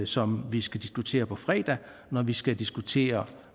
som vi skal diskutere på fredag når vi skal diskutere